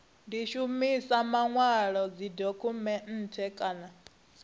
di shumisa manwalo dzidokhumennde kana